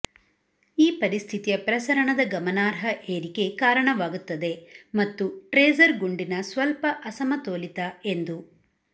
ಈ ಪರಿಸ್ಥಿತಿಯ ಪ್ರಸರಣದ ಗಮನಾರ್ಹ ಏರಿಕೆ ಕಾರಣವಾಗುತ್ತದೆ ಮತ್ತು ಟ್ರೇಸರ್ ಗುಂಡಿನ ಸ್ವಲ್ಪ ಅಸಮತೋಲಿತ ಎಂದು